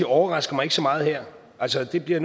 overrasker mig ikke så meget her altså det bliver